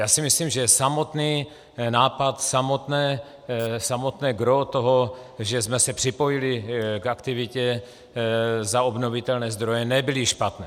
Já si myslím, že samotný nápad, samotné gros toho, že jsme se připojili k aktivitě za obnovitelné zdroje, nebyly špatné.